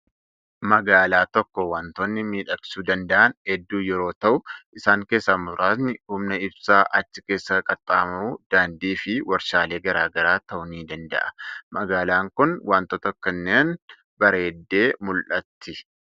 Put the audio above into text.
Magaalaa tokko waantonni miidhagsuu danda'an hedduu yeroo ta'u, isaan keessaa muraasni humna ibsaa achi keessa qaxxaamuru, daandii fi waarshaalee garaa garaa ta'uu ni danda'a. Magaalaan kun wantoota kanneeniin bareeddee mul'atti.